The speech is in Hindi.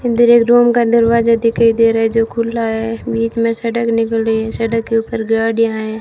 अंदर एक रूम का दरवाजा दिखाई दे रहा है जो खुला है बीच में सड़क निकल रही है सड़क के ऊपर गाड़ियां है।